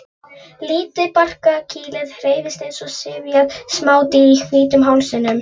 Lítið barkakýlið hreyfist eins og syfjað smádýr í hvítum hálsinum.